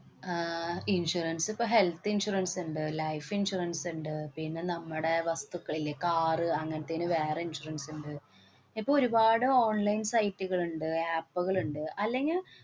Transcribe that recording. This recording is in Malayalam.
ആഹ് insurance ഇപ്പൊ health insurance ഇണ്ട്, life insurance ഇണ്ട്, പിന്നെ നമ്മുടെ വസ്തുക്കള്‍ ഇല്ലേ? കാറ് അങ്ങനേത്തേന് വേറെ insurance ഉണ്ട്. ഇപ്പ ഒരുപാട് online site ള്ണ്ട്, app കള്ണ്ട്. അല്ലെങ്കില്‍